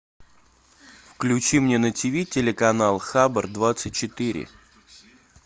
включи мне на тв телеканал хабр двадцать четыре